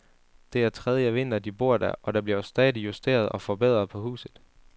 Det er tredje vinter, de bor der, og der bliver stadig justeret og forbedret på huset.